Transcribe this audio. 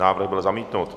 Návrh byl zamítnut.